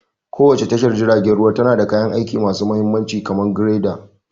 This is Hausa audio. Kowace tashar jiragen ruwa tana da kayan aiki masu mahimmanci kamar dragger.